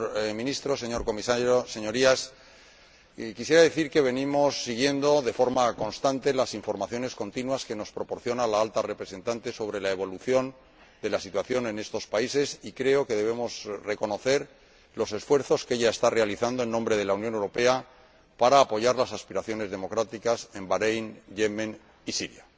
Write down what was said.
Señor Ministro, señor Comisario, Señorías, quisiera decir que venimos siguiendo de forma constante las informaciones continuas que nos proporciona la Alta Representante sobre la evolución de la situación en estos países y creo que debemos reconocer los esfuerzos que ella está realizando en nombre de la Unión Europea para apoyar las aspiraciones democráticas en Bahréin, Yemen y Siria.